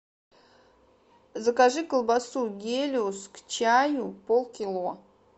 закажи колбасу гелиос к чаю пол кило